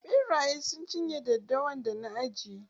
Ɓerayen sun cin ye daddawan da na ajiye.